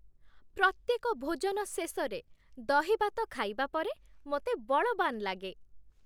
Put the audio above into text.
ପ୍ରତ୍ୟେକ ଭୋଜନ ଶେଷରେ ଦହିଭାତ ଖାଇବା ପରେ ମୋତେ ବଳବାନ୍ ଲାଗେ।